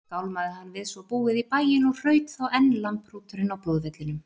Skálmaði hann við svo búið í bæinn og hraut þá enn lambhrúturinn á blóðvellinum.